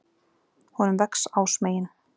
Honum vex ásmegin.